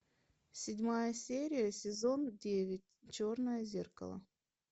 седьмая серия сезон девять черное зеркало